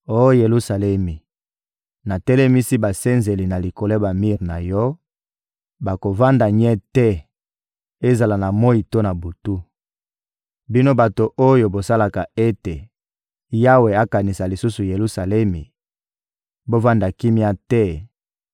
Oh Yelusalemi, natelemisi basenzeli na likolo ya bamir na yo; bakovanda nye te, ezala na moyi to na butu. Bino bato oyo bosalaka ete Yawe akanisa lisusu Yelusalemi, bovanda kimia te;